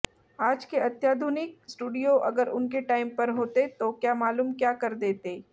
आज के अत्याधुनिक स्टूडीओ अगर उनके टाइम पर होते तो क्या मालूम क्या कर देते